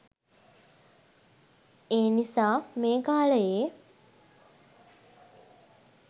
ඒනිසා මේ කාලයේ